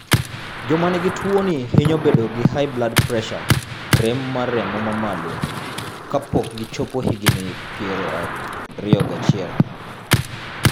Joma nigi tuwoni hinyo bedo gi high blood pressure (rem mar remo ma malo) kapok gichopo higini 21.